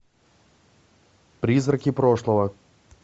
призраки прошлого